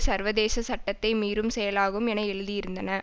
சர்வதேச சட்டத்தை மீறும் செயலாகும் என எழுதியிருந்தன